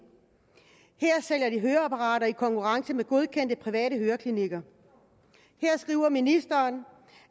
her sælger de høreapparater i konkurrence med godkendte private høreklinikker her skriver ministeren